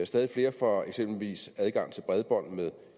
stadig flere får eksempelvis adgang til bredbånd med